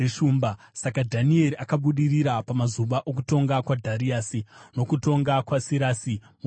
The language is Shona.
Saka Dhanieri akabudirira pamazuva okutonga kwaDhariasi nokutonga kwaSirasi muPezhia.